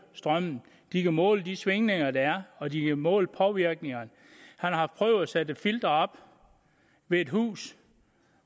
strømmen de kan måle de svingninger der er og de kan måle påvirkningerne han har prøvet at sætte et filter op ved et hus